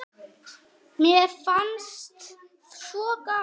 Mér fannst svo gaman.